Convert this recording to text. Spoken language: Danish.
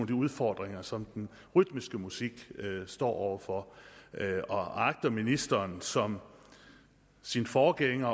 de udfordringer som den rytmiske musik står over for og agter ministeren som sin forgænger